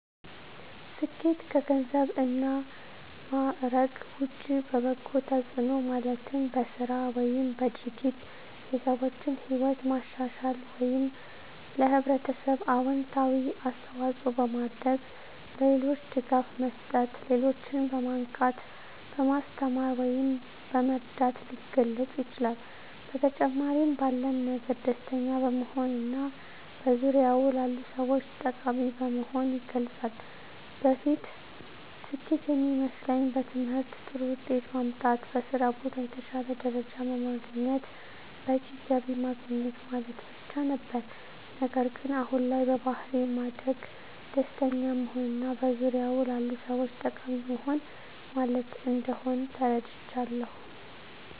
ስኬት ከገንዘብ እና ማዕረግ ውጭ በበጎ ተጽዕኖ ማለትም በሥራ ወይም በድርጊት የሰዎችን ሕይወት ማሻሻል ወይም ለኅብረተሰብ አዎንታዊ አስተዋፅዖ በማድረግ፣ ለሌሎች ድጋፍ መስጠት፣ ሌሎችን በማንቃት፣ በማስተማር ወይም በመርዳት ሊገለፅ ይችላል። በተጨማሪም ባለን ነገር ደስተኛ በመሆንና በዙሪያዎ ላሉ ሰዎች ጠቃሚ በመሆን ይገለፃል። በፊት ስኬት የሚመስለኝ በትምህርት ጥሩ ውጤት ማምጣት፣ በስራ ቦታ የተሻለ ደረጃ በማግኘት በቂ ገቢ ማግኘት ማለት ብቻ ነበር። ነገር ግን አሁን ላይ በባሕሪ ማደግ፣ ደስተኛ መሆንና በዙሪያዎ ላሉ ሰዎች ጠቃሚ መሆን ማለት እንደሆን ተረድቻለሁ።